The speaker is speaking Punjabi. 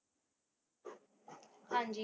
ਹਾਂਜੀ।